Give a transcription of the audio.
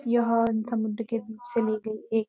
यह समुद्र के बीच से ली गई एक --